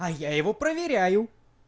а я его проверяю